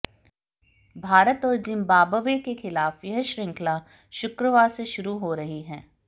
भारत और जिम्बाब्वे के खिलाफ यह श्रृंखला शुक्रवार से शुरू हो रही है